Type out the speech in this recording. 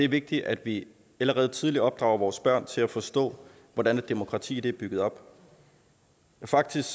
vigtigt at vi allerede tidligt opdrager vores børn til at forstå hvordan et demokrati er bygget op faktisk